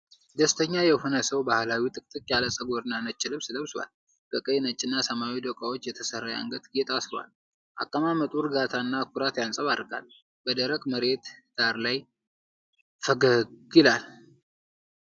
ደስተኛ የሆነ ሰው ባህላዊ ጥቅጥቅ ያለ ፀጉርና ነጭ ልብስ ለብሷል። በቀይ፣ ነጭና ሰማያዊ ዶቃዎች የተሰራ የአንገት ጌጥ አስሯል። አቀማመጡ እርጋታ እና ኩራት ያንፀባርቃል፤ በደረቅ መሬት ዳራ ላይ ፈገግ ይላል።